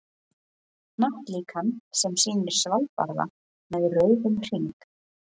Hnattlíkan sem sýnir Svalbarða með rauðum hring.